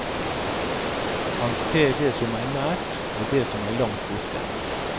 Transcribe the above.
Han ser det som er nært og det som er langt borte.